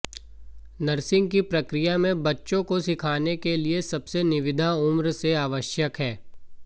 nursing की प्रक्रिया में बच्चे को सिखाने के लिए सबसे निविदा उम्र से आवश्यक है